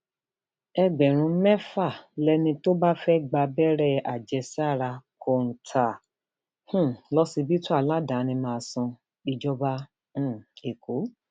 ẹgbẹrún mẹfà lẹni tó bá fẹẹ gba abẹrẹ àjẹsára kọńtà um lọsibítù aládàáni máa san ìjọba um ẹkọ